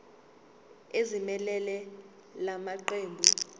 ezimelele la maqembu